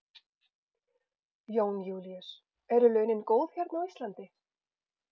Jón Júlíus: Eru launin góð hérna á Íslandi?